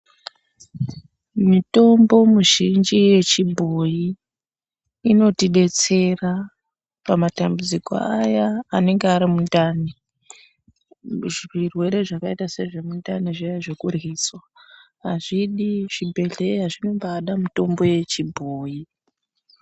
Mitombo muzhinji yechibhoyi inotidetsera, pamatambudziko aya anenga ari mundani kuzvirwere zvakaita sezvemundani zviya zvekuryiswa, azvidi zvibhedhleya, zvinombaada mitombo yechibhoyi.